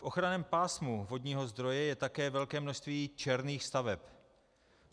V ochranném pásmu vodního zdroje je také velké množství černých staveb.